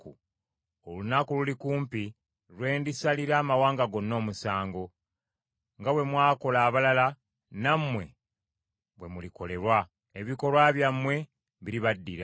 “Olunaku luli kumpi kwe ndisalira amawanga gonna omusango. Nga bwe mwakola abalala, nammwe bwe mulikolebwa. Ebikolwa byammwe biribaddira.